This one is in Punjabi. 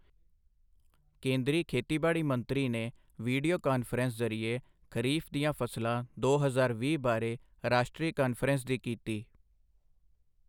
ਕੇਂਦਰੀ ਖੇਤੀਬਾੜੀ ਮੰਤਰੀ ਨੇ ਵੀਡੀਓ ਕਾਨਫ਼ਰੰਸ ਜ਼ਰੀਏ ਖ਼ਰੀਫ਼ ਦੀਆਂ ਫ਼ਸਲਾਂ ਦੋ ਹਜ਼ਾਰ ਵੀਹ ਬਾਰੇ ਰਾਸ਼ਟਰੀ ਕਾਨਫ਼ਰੰਸ ਦੀ ਕੀਤੀ